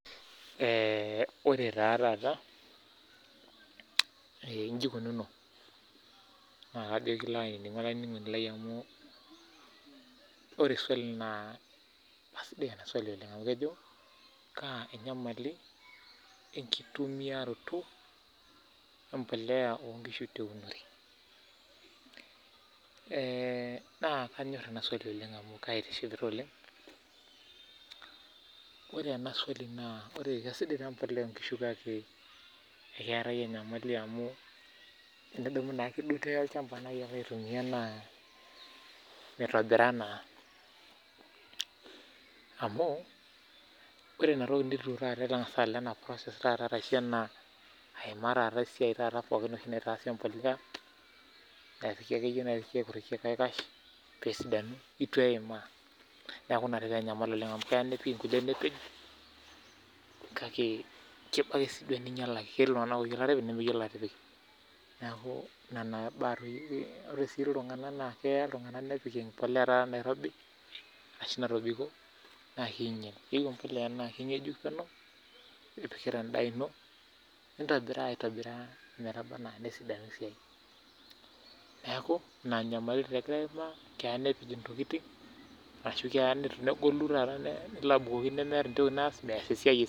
ore taa taata naa iji ikununo naa ekilo aininingu olainingunoni lai amu ore swali naa keji kaa enkitumuyiaroto empuliya oonkishu teunore kisidai ine kaki tenintumia sii ainyalaki naa mitobiraa naa esiai tolchamba amu itu iimaa process taata naitaasi empuliya naidimayu nitaasi peyie esidanu itu eimaa amuu keya nipik ninyalaki. Ketii kulie tunganak oopik empuliya natobiko naa kinyal, keyiou empuliya nakingejuk penyo amuu kitobiraa endaa ino metubulu nesidanu neeku ina nyamali taa egira ilairemook aimaa amu keya nepej intokiting ashu mees esiai